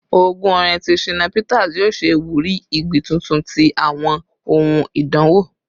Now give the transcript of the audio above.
Ogún orin ti Shina Peter yoo ṣe iwuri igbi tuntun ti awọn ohun idanwo